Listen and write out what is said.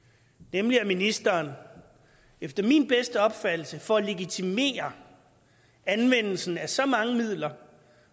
nemlig at ministeren efter min bedste opfattelse for at legitimere anvendelsen af så mange midler